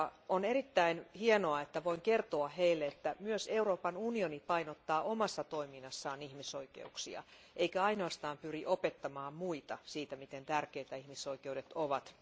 On erittäin hienoa, että voin kertoa heille, että myös Euroopan unioni painottaa omassa toiminnassaan ihmisoikeuksia, eikä ainoastaan pyri opettamaan muille, miten tärkeitä ihmisoikeudet ovat.